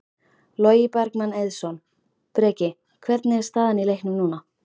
Logi Bergmann Eiðsson: Breki, hvernig er staðan í leiknum núna?